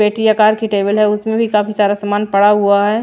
पेटी या कार की टेबल है उसमें भी काफी सारा सामान पड़ा हुआ है।